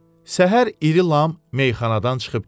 Səhər iri lam meyxanadan çıxıb getdi.